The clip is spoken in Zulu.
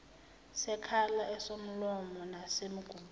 sekhala esomlomo nesomgudu